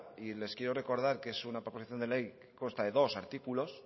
y les quiero recordar que es una proposición de ley que consta de dos artículos